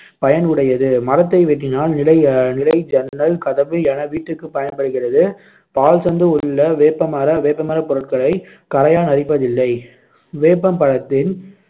பயன் உடையது மரத்தை வெட்டினால் நிலை நிலை, ஜன்னல், கதவு என வீட்டுக்கு பயன்படுகிறது. பால்சத்து உள்ள வேப்பமர வேப்பமர பொருட்களை கரையான் அரிப்பதில்லை